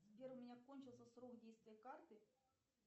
сбер у меня кончился срок действия карты